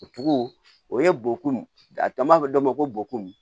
O tugu o ye bɔ kun a b'a fɔ dɔ ma ko bokuni